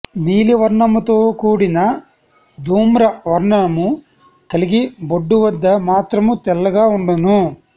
నీలి వర్ణముతో కూడిన ధూమ్రవర్ణము కలిగి బొడ్డు వద్ద మాత్రము తెల్లగ ఉండును